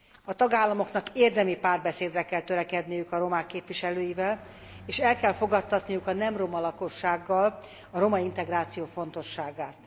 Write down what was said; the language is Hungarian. A tagállamoknak érdemi párbeszédre kell törekedniük a romák képviselőivel, és el kell fogadtatniuk a nem roma lakossággal a romaintegráció fontosságát.